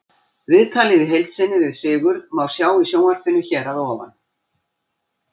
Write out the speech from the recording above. Viðtalið í heild sinni við Sigurð má sjá í sjónvarpinu hér að ofan.